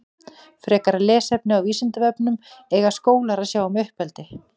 Frekara lesefni á Vísindavefnum Eiga skólar að sjá um uppeldi?